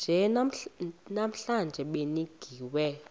nje namhla nibingiwe